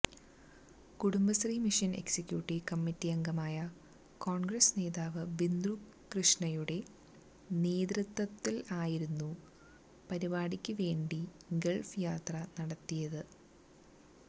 Kudumbashree mission executive committee അംഗമായ കോൺഗ്രസ് നേതാവ് ബിന്ദുകൃഷ്ണയുടെ നേതൃത്വത്തിലായിരുന്നു പരിപാടിക്ക് വേണ്ടി ഗൾഫ് യാത്ര നടത്തിയത്